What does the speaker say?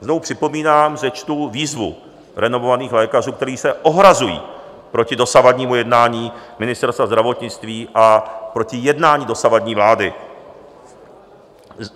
Znovu připomínám, že čtu výzvy renomovaných lékařů, kteří se ohrazují proti dosavadnímu jednání Ministerstva zdravotnictví a proti jednání dosavadní vlády.